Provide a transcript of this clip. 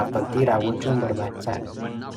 kaffaltii raawwachuun barbaachisa.